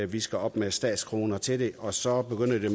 vi skal op med statskroner til det og så begynder det